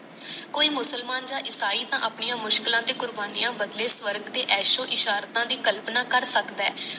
ਕੋਈ ਮੁਸਲਮਾਨ ਯ ਈਸਾਈ ਤਾ ਆਪਣੀ ਮੁਸ਼ਕਿਲਾ ਤੇ ਕੁਰਬਾਨੀ ਬਦਲੇ ਤਾ ਸਰਵਾਂਗ ਤੇ ਐਸੋ ਇਸਰਾਤਾ ਦੀ ਕਲਪਨਾ ਕਰ ਸੱਕਦਾ